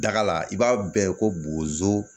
Daga la i b'a bɛɛ ko bozo